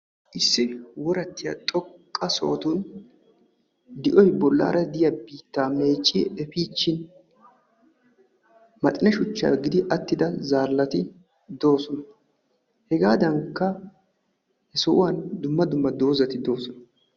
issi worattiya xoqqa asati di'oy bolaara diya biittaa meecci efiichchin attida zaalati de'oosona. hegaadankka dumma dumma zaalati de'oosona.